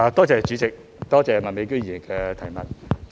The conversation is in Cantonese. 主席，多謝麥美娟議員的補充質詢。